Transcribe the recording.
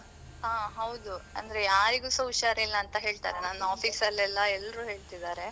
ಹಾ ಹೌದು, ಅಂದ್ರೆ ಯಾರಿಗುಸಾ ಹುಷಾರಿಲ್ಲ ಅಂತ ಹೇಳ್ತಾರೆ. ನನ್ office ಅಲ್ಲಿ ಎಲ್ಲ ಎಲ್ರೂ ಹೇಳ್ತಿದ್ದಾರೆ.